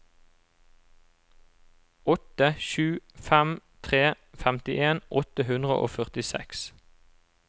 åtte sju fem tre femtien åtte hundre og førtiseks